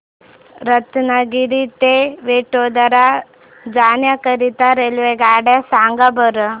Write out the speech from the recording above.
रत्नागिरी ते वडोदरा जाण्या करीता रेल्वेगाड्या सांगा बरं